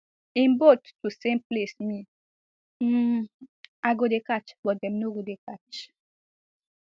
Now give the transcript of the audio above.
im boat to same place me um i go dey catch but dem no go dey catch